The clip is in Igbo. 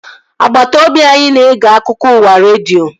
Agbata obi anyị na-ege akụkọ ụwa redio